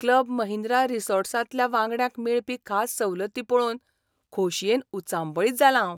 Club Mahindra रिसॉर्ट्सांतल्या वांगड्यांक मेळपी खास सवलती पळोवन खोशयेन उचांबळीत जालां हांव.